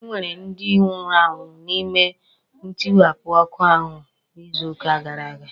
E nwere ndi nwụrụnụ n'ime ntiwapụ ọkụ ahụ n'izuuka gara aga.